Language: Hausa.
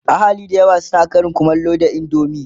ahali da yawa na Karin kumallo da indomie